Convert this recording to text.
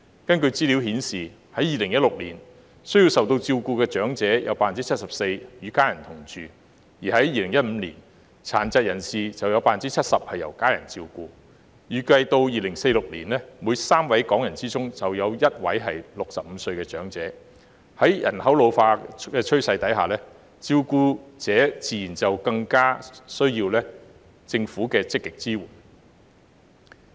根據資料顯示，在2016年，需受照顧的長者有 74% 與家人同住，而在2015年，殘疾人士有 70% 由家人照顧；預計2046年，每3位港人中便有1位為65歲長者，在人口老化的趨勢下，照顧者自然更需要政府的積極支援。